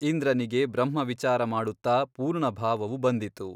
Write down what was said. ಇಂದ್ರನಿಗೆ ಬ್ರಹ್ಮ ವಿಚಾರಮಾಡುತ್ತ ಪೂರ್ಣಭಾವವು ಬಂದಿತು.